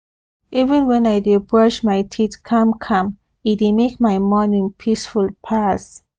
even when i dey brush my teeth calm calm e dey make my morning peaceful pass